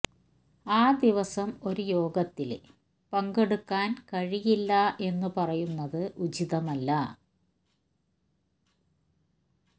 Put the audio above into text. ആ ദിവസം ഒരു യോഗത്തില് പങ്കെടുക്കാന് കഴിയില്ല എന്നു പറയുന്നത് ഉചിതമല്ല